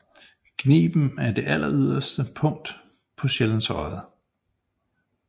Gniben er det alleryderste punkt af Sjællands Odde